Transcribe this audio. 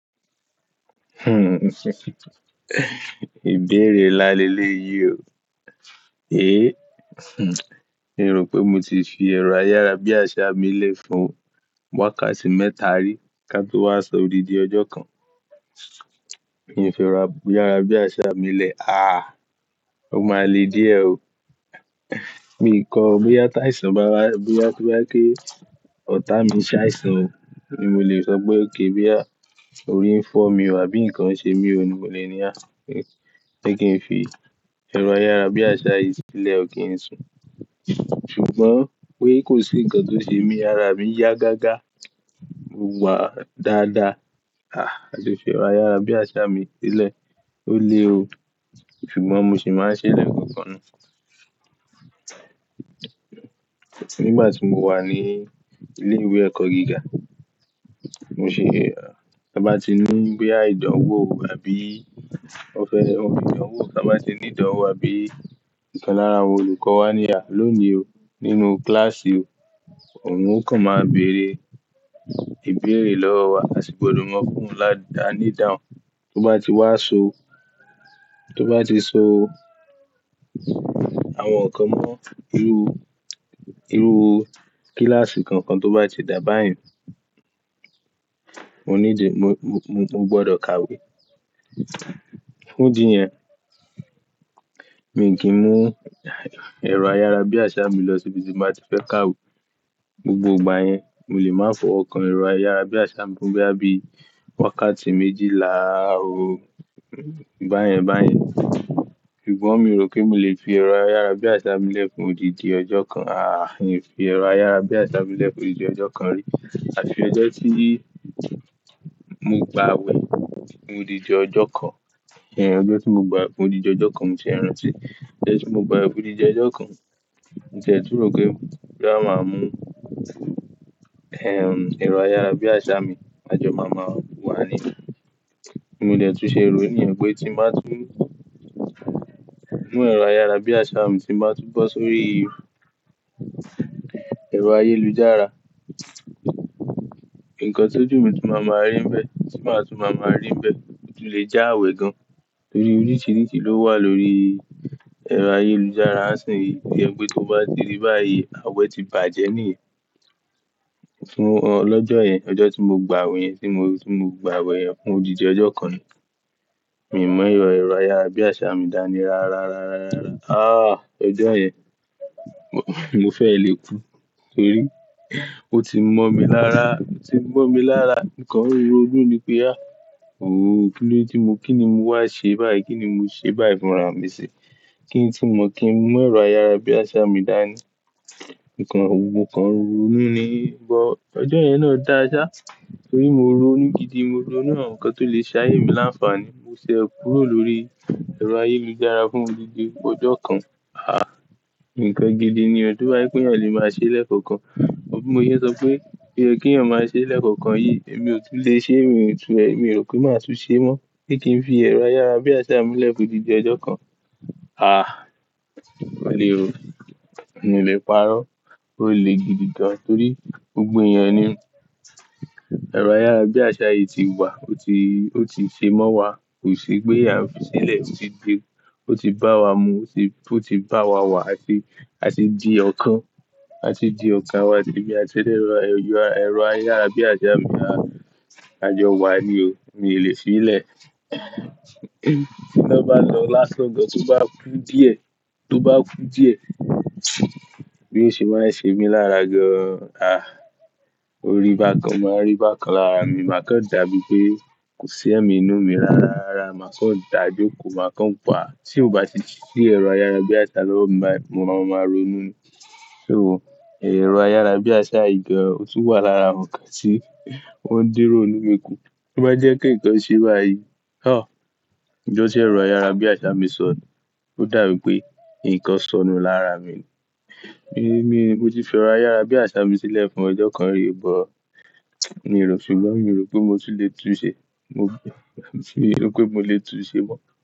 Ìbéèrè ńlá lelé yìí o. Èé, miì rò pé mo ti fi ẹ̀rọ ayára bí àṣá mi lẹ̀ fún wákàtí mẹ́ta rí ká tó wá sọ odidi ọjọ́ kan. Mi ò f'ẹ̀rọ ayára bí àsá mi'ílẹ̀. Ó máa le díẹ̀ o. Miì kọ bóyá táìsàn bá wá, bóyá tó bá, ọ̀tá mi ṣàìsàn ni mo lè sọ pé okay bóyá orí ń fọ́ mi o, àbí nǹkan ṣe mi o, ni mo lè ní pé kí n fi ẹ̀rọ ayára bí àsá yìí sílẹ̀ o kí n sùn. Ṣùgbọ́n pé kò sí ǹkan tó ṣe mi, ara mi yá gágá, mo wà dáadáa, mi ò le fi ẹ̀rọ ayára bí àsá mi sílẹ̀. Ó le ò Ṣùgbọ́n mo sì máa ń ṣeé lẹ́ẹ̀kọ̀ọ̀kan náà. Nígbà tí mo wà ní ilé ìwé ẹ̀kọ́ gíga, Mo ṣe, ta bá ti ní bóyá ìdánwò àbí ó fẹ́, ó fẹ́ ìdánwò ta bá ti ní ìdánwò àbí ìkan lára àwọn olùkọ́ wa ní lónìí, nínú kíláàsì, òun ó kàn máa béèrè ìbéèrè lọ́wọ́ wa, asì gbọdọ̀ mọ́ọ fún òun ní'ìdáhùn tó bá ti wá sọ, tó bá ti sọ àwọn nǹkan ní irúu, irúu kíláàsì kankan tó bá ti da báàyí mo nídì mo, mo gbọdọ̀ kàwé. Fún dìí yẹn, mi ò kì ń mú ẹ̀rọ ayára bí àsá mi lọ síbi tí n bá ti fẹ́ kàwé. Gbogbo ìgbà yẹn, mo lè máa fọwọ́ kan ẹ̀rọ ayára bí àsá mi fún bóyá bíi wákàtí méjìlá, báyẹn báyẹn. Ṣùgbọ́n mi ò kì ń leè fi ẹ̀rọ ayára bí àsá mi lẹ̀ fún odidi ọjọ́ kan. Àh! Mi ò fi ẹ̀rọ ayára bí àsá mi lẹ̀ fún odidi ọjọ́ kan rí àti ọjọ́ tí mo gbà wẹ̀ fún odidi ọjọ́ kan, ọjọ́ tí mo gbà'wẹ̀ fún odidi ọjọ́ kan mo ṣẹ̀ṣẹ̀ rántí. Ọjọ́ tí mo gbà'wẹ̀ fún odidi ọjọ́ kan, mo ti ẹ̀ tún ròó pé bóyá màá mú ẹ̀rọ ayára bí àsá mi, ajọ máa ma wà níbẹ̀. Mo dẹ̀ tún ṣe ròó nìyẹn pé tí mo bá tún mú ẹ̀rọ ayára bí àsá mi, tí mo bá tún bọ́ sórí ẹ̀rọ ayélujára, nǹkan tó'jù tún máa máa rí ń bẹ̀, tí màá tún máa máa rí ń bẹ̀, tún le já àwẹ̀ gan. Torí oríṣiríṣi ló wà lórí ẹ̀rọ ayélujára. Nísìnyí, tó jẹ́ pé tóo bá ti ríi báyìí àwẹ̀ ti bàjẹ́ nìyẹn. Fún ọlọ́jọ́ yẹn, ọjọ́ tí mo gba àwẹ̀ yẹn tí mo, tí mo gba àwẹ̀ yẹn fún odidi ọjọ́ kan ni. Mi ò mú ẹ̀rọ ayára bí àsá mi dání rárá, rárá, rárá, rárá. Ọjọ́ yẹn, mo fẹ́ ẹ̀ le kú. Torí, ó ti mọ́ mí lára, ó ti mọ́ mí lára mo kàn ń ro'nú ni pe áà kílódé ti mó, kí ni mo wá ṣe báyìí, kí ni mo ṣe báyìí fúnra mi sí? Kí n tí mọ̀ kí n mú ẹ̀rọ ayára bí àsá mi dání. Mo kàn ń ronú ni. Ṣùgbọ́n ọjọ́ yẹn náà dáa ṣá torí mo ronú gidi, mo ronú àwọn nǹkan tó le ṣe ayé mi láǹfààní. Mo ṣẹ̀ kúrò lórí ẹ̀rọ ayélujára fún odidi ọjọ́ kan. Àh! Nǹkan gidi ni o, tó bá jẹ́ pé èèyàn le máa ṣé lẹ́ẹ̀kọ̀ọ̀kan. Gbogbo bí mo ṣe ń sọ pé, pé kéèyàn máa ṣè lẹ́ẹ̀kọ̀ọ̀kan yìí, èmi ò tún lè ṣe, èmi ò rò pé màá tún ṣe é mọ́. Pé kí n fi ẹ̀rọ ayára bí àsá mi lẹ̀ fún odidi ọjọ́ kan. Àh! Ó le o. Mi ò lè parọ́. Ó le gidi gan torí gbogbo èèyàn ni ẹ̀rọ ayára bí àsá yìí ti wà, ó ti, ó ti ṣe mọ́ wa. Kò sí pé a fi sílẹ̀, ó ti bá wa mu, ó ti, ó ti bá wa wà àti, ati di ọ̀kan. A ti di ọ̀kan, èmi àti ẹ̀rọ ayára bí àsá mi wà. Àjọ wà ni o. Mi ò lè fi í lẹ̀. Tí iná bá lọ lásán gan, tó bá kú díẹ̀, tó bá kú díẹ̀, B'óṣe máa ń ṣe mí lára gan, órí bá kan, o máa ń rí bá kan lára mi, màá kàn dà bíi pé kò sí èèyàn nínú mi rárá, rárá. Màá kàn dá jókòó, màá kàn wà. Tí ò bá ti sí ẹ̀rọ ayára bí àsá lọ́wọ́ mi báyìí màá máa ronú ni. Ẹ̀rọ ayára bí àsá yìí gan, ó tún wà lára àwọn nǹkan tí ó ń dín'rònú mi kú. Tó bá jẹ́ pé nǹkan ṣeé báyìí, Ijọ́ tí ẹ̀rọ ayára bí àsá mi sọnù? Ó dà bíi pé nǹkan sọnù lára mi. Mo ti fi ẹ̀rọ ayára bí àsá mi sílẹ̀ fún ọjọ́ kan rí o, Ṣùgbọ́n mi ò rò pé mo tún le tún-un ṣe. Mi ò sì rò pé mo le tún-un ṣe mọ́.